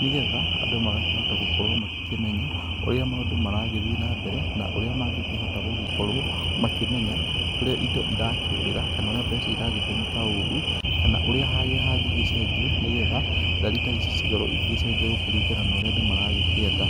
nĩ getha andũ magakĩhota gũkorwo magĩkĩmenya ũrĩa maũndũ marathiĩ na mbere na ũrĩa mangĩkĩhota gũkorwo, makĩmenya ũrĩa indo irakĩũrĩra kana ũrĩa mbeca iragĩtũmĩka ũru. Kana harĩa hangĩgĩcenjio nĩ getha ndari ta ici cikorwo igĩgĩcenjia kũringana na ũrĩa andũ marakĩenda.